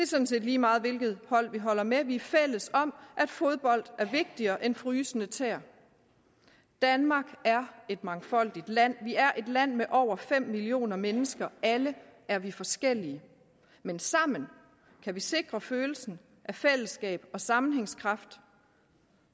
sådan set lige meget hvilket hold vi holder med for vi er fælles om at fodbold er vigtigere end frysende tæer danmark er et mangfoldigt land vi er et land med over fem millioner mennesker alle er vi forskellige men sammen kan vi sikre følelsen af fællesskab og sammenhængskraft